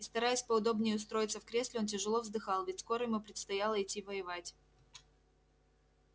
и стараясь поудобнее устроиться в кресле он тяжело вздыхал ведь скоро ему предстояло идти воевать